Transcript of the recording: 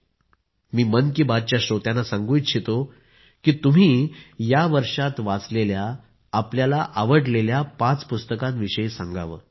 मी ही मन की बातच्या श्रोत्यांना सांगू इच्छितो की तुम्ही या वर्षात वाचलेल्या आपल्याला आवडलेल्या पाच पुस्तकांविषयी सांगावं